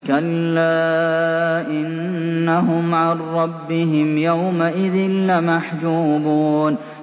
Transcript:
كَلَّا إِنَّهُمْ عَن رَّبِّهِمْ يَوْمَئِذٍ لَّمَحْجُوبُونَ